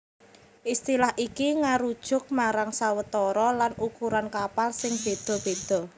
Istilah iki ngarujuk marang sawetara lan ukuran kapal sing béda béda